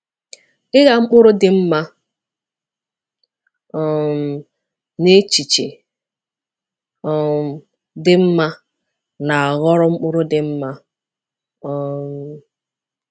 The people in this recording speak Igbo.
Ịgha mkpụrụ dị mma um na echiche um dị mma na-aghọrọ mkpụrụ dị mma. um